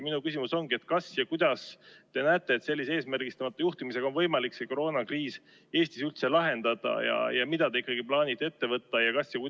Minu küsimus ongi: kuidas teie arvates sellise eesmärgistamata juhtimisega on võimalik koroonakriis Eestis üldse lahendada ja mida te plaanite ette võtta?